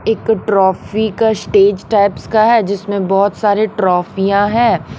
एक ट्रॉफी का stage types का है जिसमें बहुत सारे ट्रॉफीयां हैं।